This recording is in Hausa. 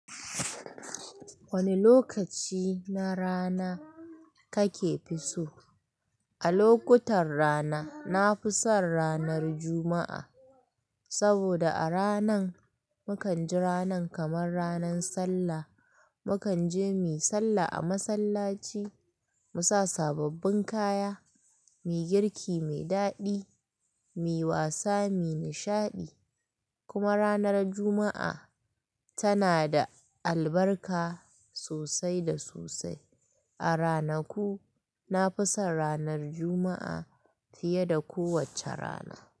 Wane lokaci na rana kake so? A lokutan rana, na fi son ranar Juma'a. Saboda a ranan, mukan ji ranan kamar ranan sallah. Mukan je mu sallah a masallaci, mu sa sababbin kaya, mu yi girki mai daɗi, mu yi wasa, mu yi nishaɗi. Kuma ranar Juma'a tana da albarka sosai da sosai. A ranaku, na fi son ranar Juma'a fiye da kowacce rana.